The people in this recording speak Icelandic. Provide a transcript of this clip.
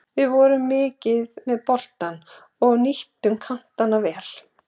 Við vorum mikið með boltann og nýttum kantana vel.